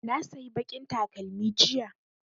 Na sayi baƙin takalmi jiya